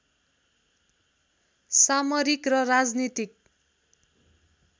सामरिक र राजनीतिक